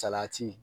Salati